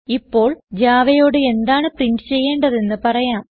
ഇപ്പോൾ Javaയോട് എന്താണ് പ്രിന്റ് ചെയ്യേണ്ടത് എന്ന് പറയാം